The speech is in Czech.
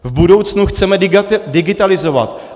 V budoucnu chceme digitalizovat.